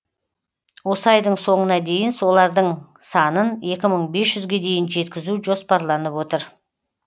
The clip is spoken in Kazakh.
осы айдың соңына дейін солардың санын екі мың бес жүзге дейін жеткізу жоспарланып отыр